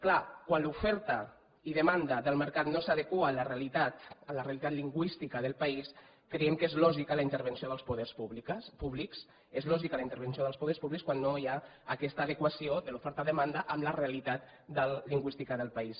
clar quan l’oferta i demanda del mercat no s’adeqüen a la realitat a la realitat lingüística del país creiem que és lògica la intervenció dels poders públics és lògica la intervenció dels poders públics quan no hi ha aquesta adequació de l’oferta demanda a la realitat lingüística del país